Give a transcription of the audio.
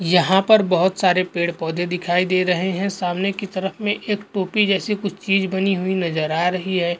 यहा पर बहुत सारे पेड़ पौधे दिखाई दे रहे है सामने की तरफ में एक टोपी जैसी कुछ चीज़ बनी हुई नज़र आ रही है।